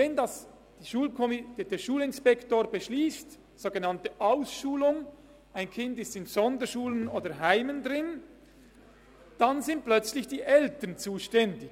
Wenn der Schulinspektor eine sogenannte Ausschulung in eine Sonderschule oder ein Heim beschliesst, dann sind plötzlich die Eltern zuständig.